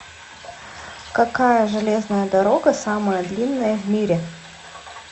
какая железная дорога самая длинная в мире